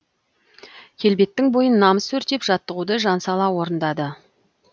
келбеттің бойын намыс өртеп жаттығуды жан сала орындады